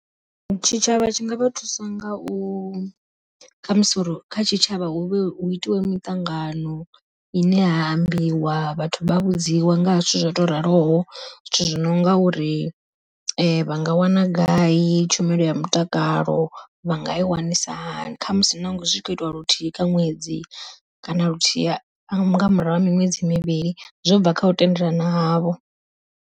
Tshitshavha tshi nga vha thusa nga u khamusi uri kha tshitshavha hu vhe hu itiwe miṱangano ine ha ambiwa vhathu vha vhudziwe nga ha zwithu zwo raloho, zwithu zwi nonga uri vha nga wana gai tshumelo ya mutakalo vha nga i wanisa hani. Khamusi nazwo zwi kho itiwa luthihi kha ṅwedzi kana luthihi nga murahu ha miṅwedzi mivhili zwo bva kha u tendelana havho.